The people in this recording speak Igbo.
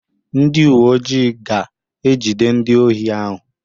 Ndị uwe ojii ga-ejide ndị ohi ahụ.